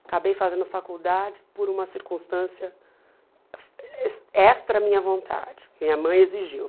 Acabei fazendo faculdade por uma circunstância ex extra à minha vontade, que minha mãe exigiu.